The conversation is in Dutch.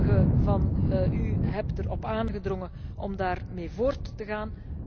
Sommigen van u hebben erop aangedrongen om daarmee voort te gaan.